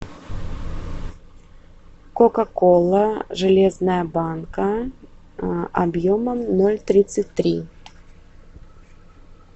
кока кола железная банка объемом ноль тридцать три